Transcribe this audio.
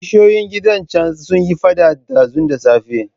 Kishiyoyin gidan can sun yi faɗa ɗazu da safe.